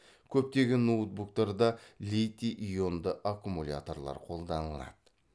көптеген ноутбуктарда литий ионды аккумуляторлар қолданылады